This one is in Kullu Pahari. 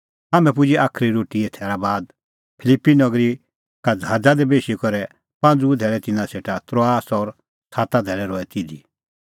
हाम्हैं पुजै साज़ी रोटीए थैरा बाद फिलिप्पी नगरी का ज़हाज़ा दी बेशी करै पांज़ूऐ धैल़ै तिन्नां सेटा त्रोआस और साता धैल़ै रहै तिधी